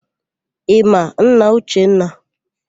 Ị ma nna Uchenna?